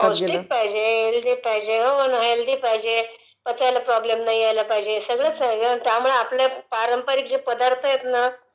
पौष्टीक पाहिजे...हेल्दी पाहिजे....पचायला प्रॉब्लेम नाही यायला पाहिजे सगळंच आहे ग...त्यामुळे आपले पारंपारीक जे पदार्त आहेत ना